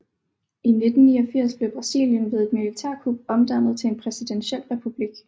I 1889 blev Brasilien ved et militærkup omdannet til en præsidentiel republik